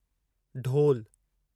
ढोलु